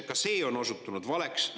Ka see on osutunud valeks.